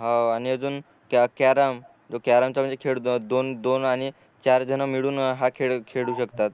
हो आणि अजून कॅ कॅरम तो कॅरम चा म्हणजे खेळ दोन दोन आणि चार जन मिळून हा खेळ खेळू शकतात